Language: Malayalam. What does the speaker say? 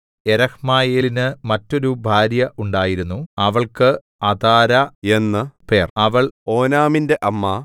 യെരഹ്മയേലിന് മറ്റൊരു ഭാര്യ ഉണ്ടായിരുന്നു അവൾക്ക് അതാരാ എന്നു പേർ അവൾ ഓനാമിന്റെ അമ്മ